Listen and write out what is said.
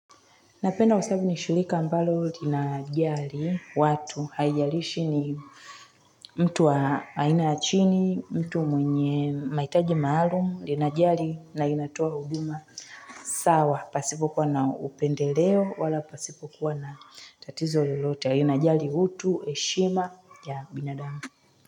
Napenda kwasabu ni shirika mbalo linajali watu. Haijalishi ni mtu wa aina ya chini, mtu mwenye mahitaji maalum. Lina jali na inatoa huduma. Sawa pasipo kwa na upendeleo wala pasipo kuwa na tatizo lolote. Linajali utu heshima ya binadamu.